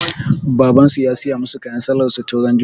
Baban su ya siyu musa kayan sallah su tun ran juma'a